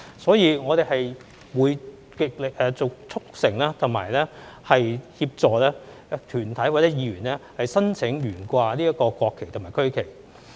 所以，我們會極力促成和協助團體或議員申請懸掛國旗和區旗。